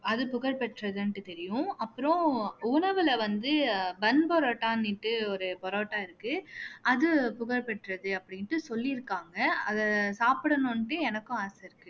அது புகழ்பெற்றதுன்னுட்டு தெரியும் அப்புறம் உணவுல வந்து bun parotta ன்னுட்டு ஒரு parotta இருக்கு அது புகழ் பெற்றது அப்படின்ட்டு சொல்லியிருக்காங்க அதை சாப்பிடணும்ன்னுட்டு எனக்கும் ஆசை இருக்கு